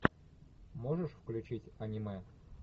можешь включить аниме